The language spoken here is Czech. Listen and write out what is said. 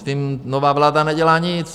S tím nová vláda nedělá nic.